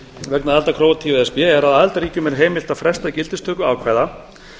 vegna aðildar króatíu að e s b er að aðildarríkjum er heimilt að fresta gildistöku ákvæða